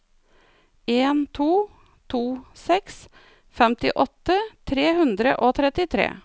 en to to seks femtiåtte tre hundre og trettitre